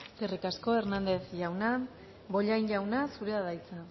eskerrik asko hernández jauna bollain jauna zurea da hitza